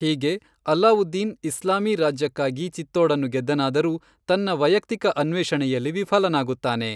ಹೀಗೆ ಅಲ್ಲಾವುದ್ದೀನ್ ಇಸ್ಲಾಮೀ ರಾಜ್ಯಕ್ಕಾಗಿ ಚಿತ್ತೋಡನ್ನು ಗೆದ್ದನಾದರೂ ತನ್ನ ವೈಯಕ್ತಿಕ ಅನ್ವೇಷಣೆಯಲ್ಲಿ ವಿಫಲನಾಗುತ್ತಾನೆ.